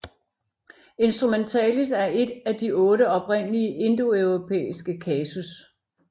Instrumentalis er en af de otte oprindelige indoeuropæiske kasus